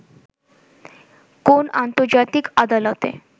কোন আন্তর্জাতিক আদালতে